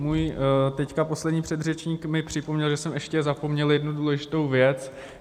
Můj teď poslední předřečník mi připomněl, že jsem ještě zapomněl jednu důležitou věc.